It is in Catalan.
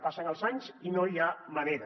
passen els anys i no hi ha manera